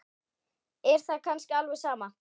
Er það kannski alveg sama?